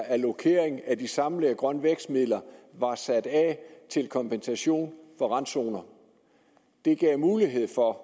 allokering af de samlede grøn vækst midler var sat af til kompensation for randzoner gav mulighed for at